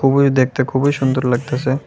খুবোই দেখতে খুবোই সুন্দর লাগতাসে ।